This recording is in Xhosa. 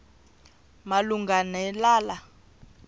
malunga ne lala